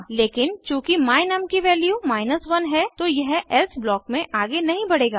लेकिन चूँकि my num की वैल्यू 1 है तो यह एल्से ब्लॉक में आगे नहीं बढ़ेगा